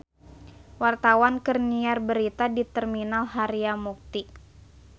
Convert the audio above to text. Wartawan keur nyiar berita di Terminal Harjamukti